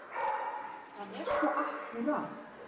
Hann er svo akkúrat.